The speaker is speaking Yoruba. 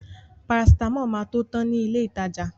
Parasitámọ̀ máa tó tan ní ilé ìtajà.